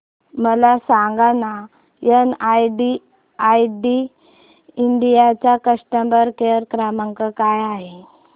मला सांगाना एनआयआयटी इंडिया चा कस्टमर केअर क्रमांक काय आहे